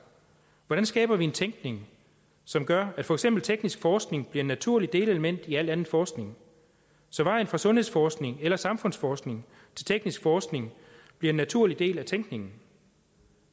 hvordan skaber vi en tænkning som gør at for eksempel teknisk forskning bliver et naturligt delelement i al anden forskning så vejen fra sundhedsforskning eller samfundsforskning til teknisk forskning bliver en naturlig del af tænkningen